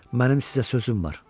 Mənim sizə sözüm var.